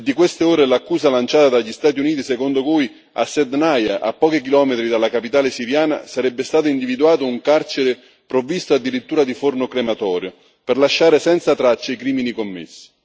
È di queste ore l'accusa lanciata dagli Stati Uniti secondo cui a Saydnaya, a pochi chilometri dalla capitale siriana, sarebbe stato individuato un carcere provvisto addirittura di forno crematorio per lasciare senza tracce i crimini commessi.